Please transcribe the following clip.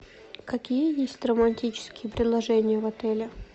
какие есть романтические предложения в отеле